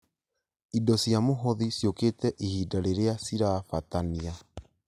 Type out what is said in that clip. Indo cia mũhothi ciũkĩte ihinda rĩrĩa cirabatania